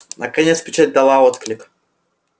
наконец печать дала отклик